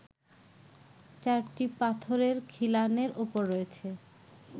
চারটি পাথরের খিলানের ওপর রয়েছে